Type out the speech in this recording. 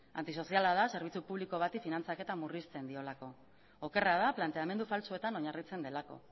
antisoziala da zerbitzu publiko bati finantzaketa murrizten diolako okerra da planteamendu faltsuetan oinarritzen delako